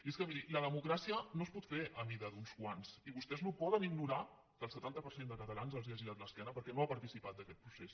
i és que miri la democràcia no es pot fer a mida d’uns quants i vostès no poden ignorar que el setanta per cent de catalans els ha girat l’esquena perquè no ha participat en aquest procés